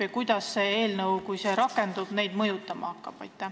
Ja kuidas see seadus, kui ta rakendub, neid mõjutama hakkab?